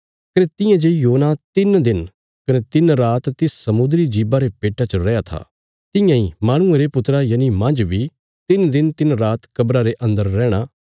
कने तियां जे योना तिन्न दिन कने तिन्न रात तिस समुद्री जीबा रे पेट्टा च रैया था तियां इ माहणुये रे पुत्रा यनि मांज बी तिन्न दिन तिन्न रात कब्रा़ रे अन्दर रैहणा